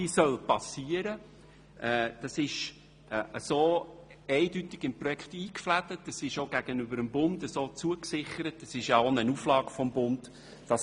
diese soll geschehen und ist eindeutig im Projekt eingeflochten sowie gegenüber dem Bund zugesichert, zumal es sich um eine Auflage des Bundes handelt.